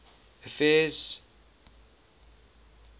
affairs